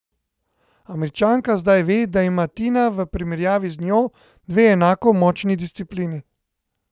Američanka zdaj ve, da ima Tina v primerjavi z njo dve enako močni disciplini.